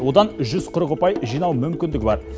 одан жүз қырық ұпай жинау мүмкіндігі бар